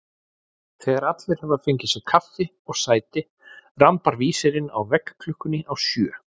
Þegar allir hafa fengið sér kaffi og sæti rambar vísirinn á veggklukkunni á sjö.